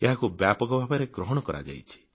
ଏହାକୁ ବ୍ୟାପକ ଭାବରେ ଗ୍ରହଣ କରାଯାଇଛି